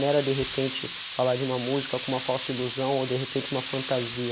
Não era de repente falar de uma música com uma falsa ilusão ou de repente uma fantasia.